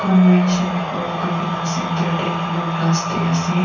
convention hall kurikaena center tae blue glass tae ase.